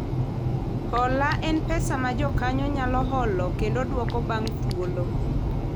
Hola en pesa ma jokanyo nyalo holo kendo dwoko bang' thuolo